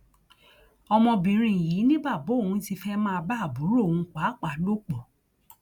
ọmọbìnrin yìí ni bàbá òun ti fẹẹ máa bá àbúrò òun pàápàá lò pọ